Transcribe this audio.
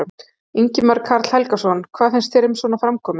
Ingimar Karl Helgason: Hvað finnst þér um svona framkomu?